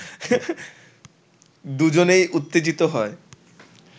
দুজনেই উত্তেজিত হই